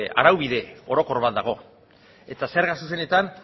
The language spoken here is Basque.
araubide orokor bat dago eta zerga zuzenetan